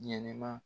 Ɲɛnɛma